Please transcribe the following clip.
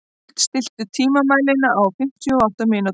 Huld, stilltu tímamælinn á fimmtíu og átta mínútur.